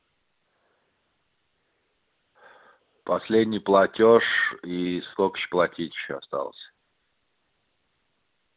последний платёж и сколько ж платить ещё осталось